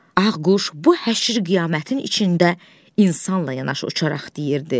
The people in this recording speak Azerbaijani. Ağ quş bu həşir-qiyamətin içində insanla yanaşı uçaraq deyirdi: